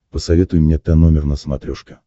посоветуй мне тномер на смотрешке